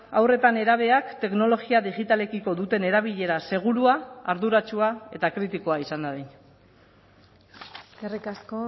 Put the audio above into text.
haur eta nerabeak teknologia digitalekiko duten erabilera segurua arduratsua eta kritikoa izan dadin eskerrik asko